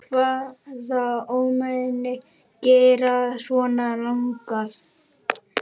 Hvaða ómenni gera svona lagað?